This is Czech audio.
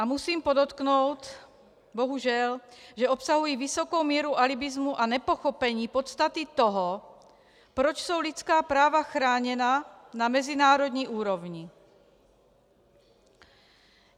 A musím podotknout, bohužel, že obsahují vysokou míru alibismu a nepochopení podstaty toho, proč jsou lidská práva chráněna na mezinárodní úrovni.